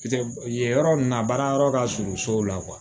Yen yen yɔrɔ ninnu na baara yɔrɔ ka surun sow la